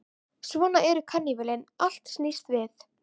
Svona eru karnivölin, allt snýst við.